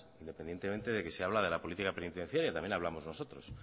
independientemente de que se habla de la política penitenciaria también hablamos nosotros